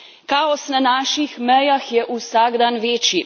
Kaos na naših mejah je vsak dan večji.